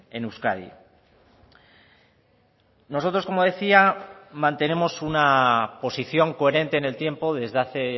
en euskadi nosotros como decía mantenemos una posición coherente en el tiempo desde hace